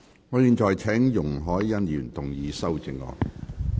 我現在請容海恩議員動議修正案。